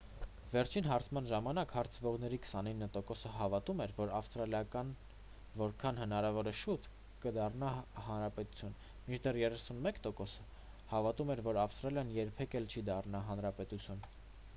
վերջին հարցման ժամանակ հարցվողների 29%-ը հավատում էր որ ավստրալիան որքան հնարավոր է շուտ կդառնա հանրապետություն մինչդեռ 31%-ը հավատում էր որ ավստրալիան երբեք էլ չի դառնա հանրապետություն: